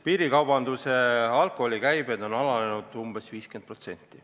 Piirikaubanduse alkoholikäibed on alanenud umbes 50%.